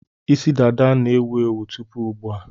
Isi dada na-ewu ewu tupu ugbu a.